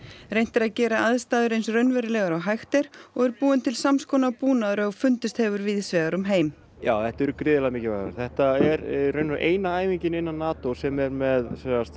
reynt er að gera aðstæður eins raunverulegar og hægt er og búinn er til samskonar búnaður og fundist hefur víðs vegar um heim já þetta eru gríðarlega mikilvægar þetta er í raun eina æfingin innan NATO sem er með